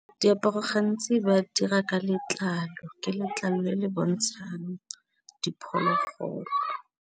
Diaparo gantsi ba dira ka letlalo, ke letlalo le le bontshang bo diphologolo.